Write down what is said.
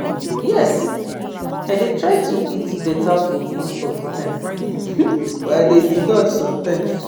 Yes, i dey try to eat beta food most of di time, but i dey indulge sometimes.